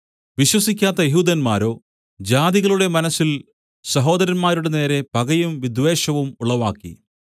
വിശ്വസിക്കാത്ത യെഹൂദന്മാരോ ജാതികളുടെ മനസ്സിൽ സഹോദരന്മാരുടെ നേരെ പകയും വിദ്വേഷവും ഉളവാക്കി